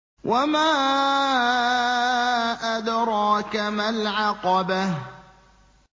وَمَا أَدْرَاكَ مَا الْعَقَبَةُ